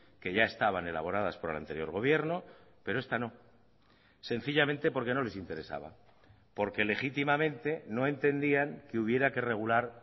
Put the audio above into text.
que ya estaban elaboradas por el anterior gobierno pero esta no sencillamente porque no les interesaba porque legítimamente no entendían que hubiera que regular